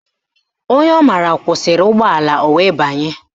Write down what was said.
Onye ọ mara kwụsịrị ụgbọala o wee banye